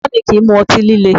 Bàbá mi kìí mu ọtí líle